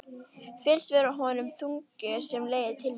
Finnst vera yfir honum þungi sem leiðir til mín.